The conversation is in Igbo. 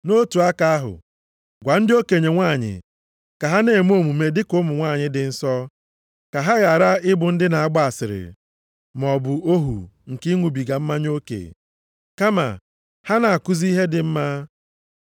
Nʼotu aka ahụ, gwa ndị okenye nwanyị ka ha na-eme omume dị ka ụmụ nwanyị dị nsọ. Ka ha ghara ịbụ ndị na-agba asịrị maọbụ ohu nke ịṅụbiga mmanya oke. Kama ha na-akụzi ihe dị mma.